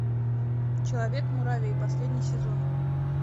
человек муравей последний сезон